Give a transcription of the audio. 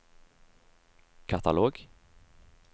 katalog